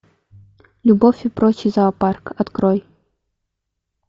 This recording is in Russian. любовь и прочий зоопарк открой